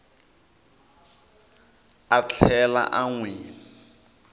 a tlhela a n wi